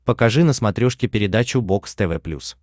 покажи на смотрешке передачу бокс тв плюс